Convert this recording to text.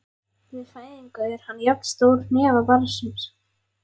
Við fæðingu er hann jafn stór hnefa barnsins.